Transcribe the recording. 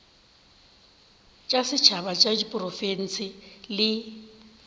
tša setšhaba tša diprofense le